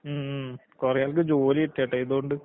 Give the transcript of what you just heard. ഉം ഉം. കൊറേയാൾക്ക് ജോലി കിട്ടിയട്ടോ ഇതോണ്ട്.